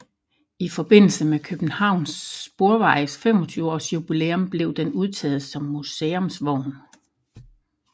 I forbindelse med Københavns Sporvejes 25 års jubilæum blev den udtaget som museumsvogn